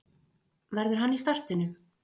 Verður hann í startinu?